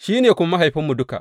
Shi ne kuwa mahaifinmu duka.